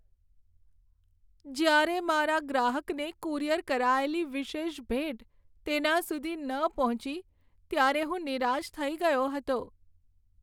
જ્યારે મારા ગ્રાહકને કુરિયર કરાયેલી વિશેષ ભેટ તેના સુધી ન પહોંચી, ત્યારે હું નિરાશ થઈ ગયો હતો.